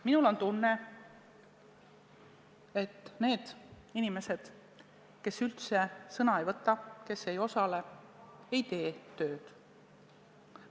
Mul on tunne, et need inimesed, kes üldse sõna ei võta, kes ei osale, ei tee tööd.